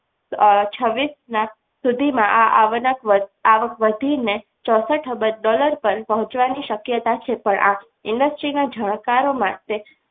અમ છવીસ ના સુધીમાં આ આગળના આવક વધીને ચોસઠ અબજ dollar પર પહોંચવાની શક્યતા છે પણ આ industries ના જાણકારો માટે